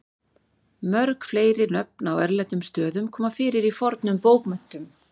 mörg fleiri nöfn á erlendum stöðum koma fyrir í fornum bókmenntum